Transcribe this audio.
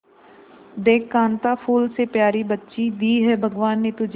देख कांता फूल से प्यारी बच्ची दी है भगवान ने तुझे